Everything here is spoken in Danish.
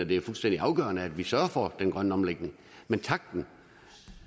det er fuldstændig afgørende at vi sørger for den grønne omlægning men takten